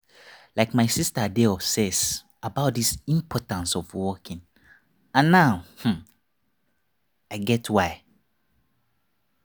like my sister dey obsess about the importance of walking and now i get why.